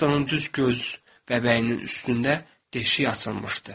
Hestonun düz göz bəbəyinin üstündə deşik açılmışdı.